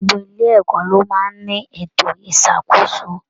Gbogbo ilé ẹ̀kọ́ ló máa n ní ètò isakoso.